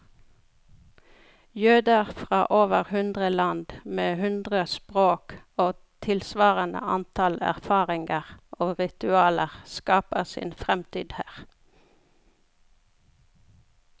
Jøder fra over hundre land, med hundre språk og tilsvarende antall erfaringer og ritualer, skaper sin fremtid her.